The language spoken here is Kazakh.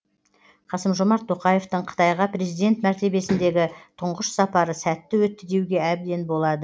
қасым жомарт тоқаевтың қытайға президент мәртебесіндегі тұңғыш сапары сәтті өтті деуге әбден болады